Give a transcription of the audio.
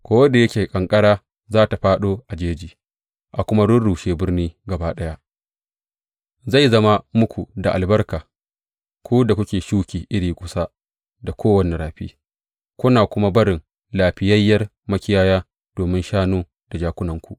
Ko da yake ƙanƙara za tă fāɗo a jeji, a kuma rurrushe birni gaba ɗaya, zai zama muku da albarka, ku da kuke shuki iri kusa da kowane rafi, kuna kuma barin lafiyayyiyar makiyaya domin shanu da jakunanku.